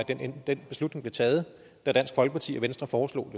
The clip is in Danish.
den beslutning blev taget da dansk folkeparti og venstre foreslog